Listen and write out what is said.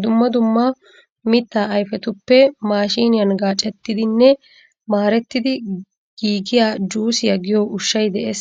Dumma dumma mittaa ayfetuppe maashiniyan gaacettidinne maarettidi giigiya juusiya giyo ushshay de'ees.